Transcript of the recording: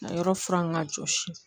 A yɔrɔ furan ka jɔsi